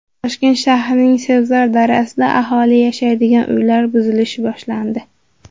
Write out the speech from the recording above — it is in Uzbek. Toshkent shahrining Sebzor dahasida aholi yashaydigan uylar buzilishi boshlandi.